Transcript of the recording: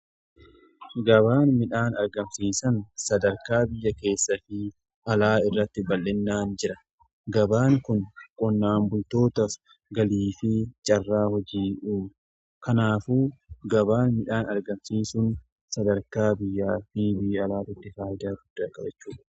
Gabaan midhaan argamsiisan sadarkaa biyya keessa fi alaa irratti bal'inaan jira gabaan kun qonnaan bultootaaf galii fi carraa hojii uumu. Kanaafu gabaan midhaan argamsiisun sadarkaa biyya fi alaa carraa qabachuu danda'u.